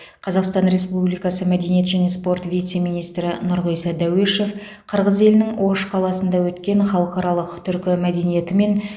қазақстан республикасы мәдениет және спорт вице министрі нұрғиса дәуешов қырғыз елінің ош қаласында өткен халықаралық түркі мәдениеті мен